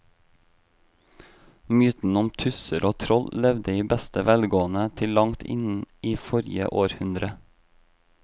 Mytene om tusser og troll levde i beste velgående til langt inn i forrige århundre.